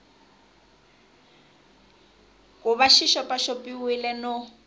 ku va xi xopaxopiwile no